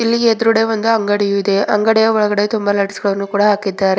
ಈ ಎದ್ರುಡೆ ಒಂದು ಅಂಗಡಿಯು ಇದೆ ಅಂಗಡಿಯ ಒಳಗಡೆ ತುಂಬ ಲೈಟ್ಸ್ ಗಳನ್ನು ಕೂಡ ಹಾಕಿದ್ದಾರೆ.